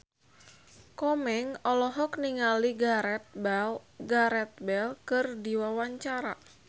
Komeng olohok ningali Gareth Bale keur diwawancara